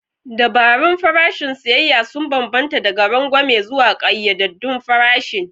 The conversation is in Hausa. Dabarun farashin siyayya sun bambanta daga rangwame zuwa ƙayyadaddun farashin.